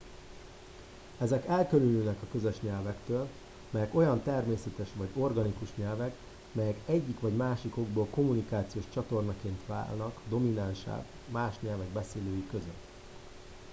ezek elkülönülnek a közös nyelvektől melyek olyan természetes vagy organikus nyelvek melyek egyik vagy másik okból kommunikációs csatornaként válnak dominánssá más nyelvek beszélői között